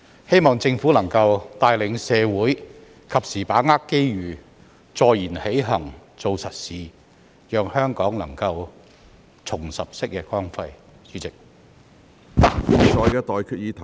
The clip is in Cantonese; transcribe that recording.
希望政府能夠帶領社會及時把握機遇，坐言起行，做實事，讓香港能夠重拾昔日光輝。